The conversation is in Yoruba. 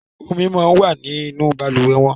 omí món wá ní nù balùwẹ̀ wón